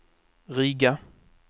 Riga